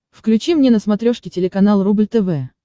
включи мне на смотрешке телеканал рубль тв